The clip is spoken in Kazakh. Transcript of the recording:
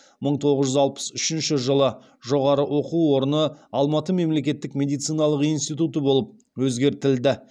мың тоғыз жүз алпыс үшінші жылы жоғары оқу орны алматы мемлекеттік медициналық институты болып өзгертілді